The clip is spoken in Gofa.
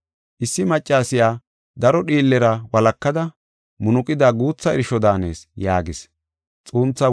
Issi maccasiya daro dhiillera walakada munuqida guutha irsho daanees” yaagis.